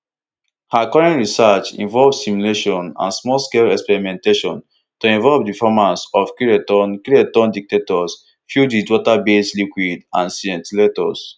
her current research involve simulations and small scale experimentation to inform di performance of kiloton kiloton detectors filled wit waterbased liquid and scintillators